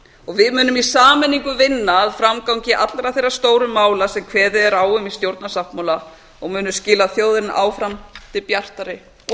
og við munum í sameiningu vinna að framgangi allra þeirra stóru mála sem kveðið er á um í stjórnarsáttmála og munum skila þjóðinni áfram til bjartari og